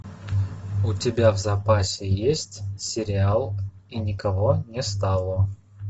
у тебя в запасе есть сериал и никого не стало